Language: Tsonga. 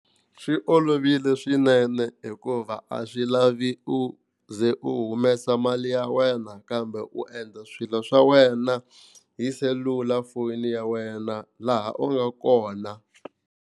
Swi olovile swinene hikuva a swi lavi u ze u humesa mali ya wena kambe u endla swilo swa wena hi selulafoni ya wena laha u nga kona.